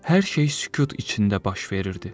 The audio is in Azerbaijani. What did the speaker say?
Hər şey sükut içində baş verirdi.